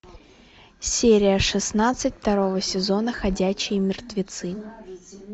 серия шестнадцать второго сезона ходячие мертвецы